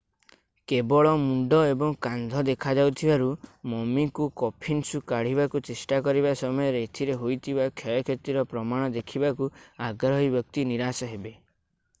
କେବଳ ମୁଣ୍ଡ ଏବଂ କାନ୍ଧ ଦେଖାଯାଉଥିବାରୁ ମମିକୁ କଫିନ୍ରୁ କାଢ଼ିବାକୁ ଚେଷ୍ଟା କରିବା ସମୟରେ ଏଥିରେ ହୋଇଥିବା କ୍ଷୟକ୍ଷତିର ପ୍ରମାଣ ଦେଖିବାକୁ ଆଗ୍ରହୀ ବ୍ୟକ୍ତି ନିରାଶ ହେବେ